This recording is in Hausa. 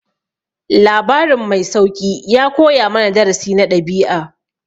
Labarin mai sauƙi ya koya mana darasi na ɗabi'a.